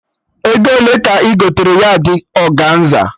Ego ole ka ị gotere yardị ọganza?